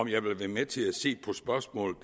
jeg vil være med til at se på spørgsmål